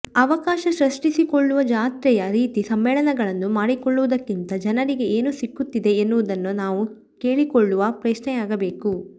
ಅವಕಾಶ ಸೃಷ್ಟಿಸಿಕೊಳ್ಳುವ ಜಾತ್ರೆಯ ರೀತಿ ಸಮ್ಮೇಳನಗಳನ್ನು ಮಾಡಿಕೊಳ್ಳುವುದಕ್ಕಿಂತ ಜನರಿಗೆ ಏನು ಸಿಕ್ಕುತ್ತಿದೆ ಎನ್ನುವುದನ್ನು ನಾವು ಕೇಳಿಕೊಳ್ಳುವ ಪ್ರಶ್ನೆಯಾಗಬೇಕು